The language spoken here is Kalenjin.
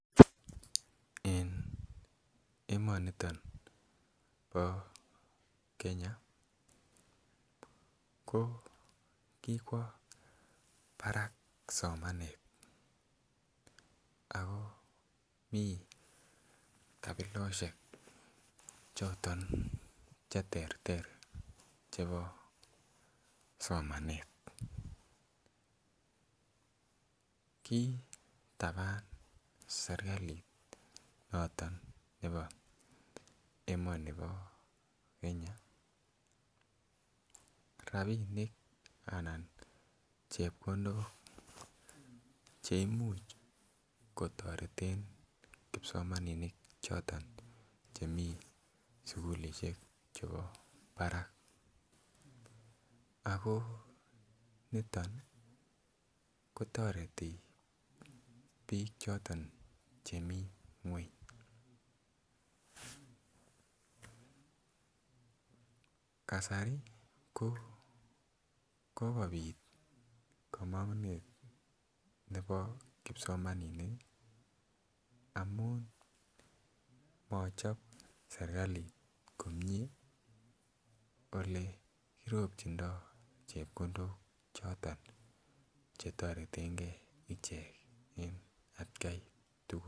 En emoniton bo Kenya ko kikwo barak somanet ako mii kapiloshek choton cheterter chebo somanet. Kitaban sirkali noton neo emoni bo Kenya rabinik anan chepkondok cheimuch kotoreten kipsomaninik choton chemii sukulishek chebo barak ako niton kotoreti bik choton chemii ngweny. Kasari ko kokobit komongunet nebo kipsomaninik amun mochop sirkalit komie ole ropchindo chepkondok choton che toretengee icheken en atgai tukul.